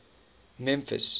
memphis